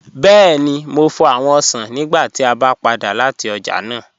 Bẹẹ̀ni, mò fọ́ awọn osàn nígbà tí a bá padà lati ọ̀já náà